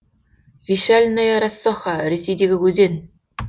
вешальная рассоха ресейдегі өзен